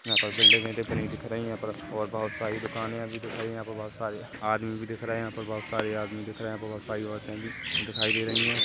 यहाँ पे बिल्डिंगे भी बनी दिख रही हैं और बहुत सारी दुकानिया भी दिखाई है यहाँ पर बहुत सारी आदमी भी दिख रहे है यहाँ पर बहुत सारी आदमी भी दिख रहे है बहुत सारी औरते भी दिखाई दे रही है।